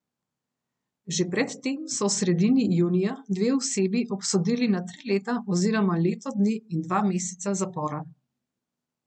Že pred tem so v sredini junija dve osebi obsodili na tri leta oziroma leto dni in dva meseca zapora.